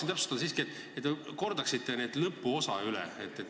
Ma tahaksin siiski, et te kordaksite lõpuosa üle.